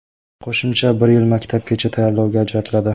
Qo‘shimcha bir yil maktabgacha tayyorlovga ajratiladi.